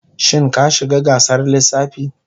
Shin ka shiga gasar lissafi?